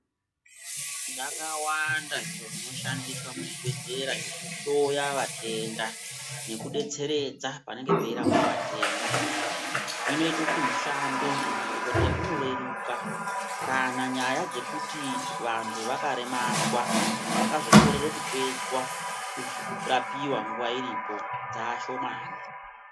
Zvakawanda zviro zvinoshandiswa muzvibhedhleya zvekuhloya vatenda nekudetseredza panenge oeirapwa vatenda zvinoita kuti mushando wemadhkodheya unoreruka kana nyaya dzekuti vakaremadzwa kana vakazokorera kupedzwa kurapiwa nguwa iripo dzaashomani.